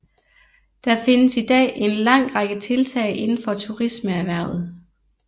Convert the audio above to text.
Der findes i dag en lang række tiltag indenfor turismeerhvervet